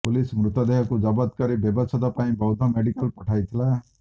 police ମୃତଦେହକୁ ଜବତ କରି ବ୍ୟବଛେଦ ପାଇଁ ବୌଦ୍ଧ ମେଡିକାଲ ପଠାଇଥିଲା